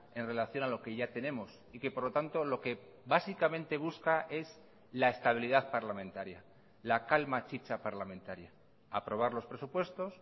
en relación a lo que ya tenemos y que por lo tanto lo que básicamente busca es la estabilidad parlamentaria la calma chicha parlamentaria aprobar los presupuestos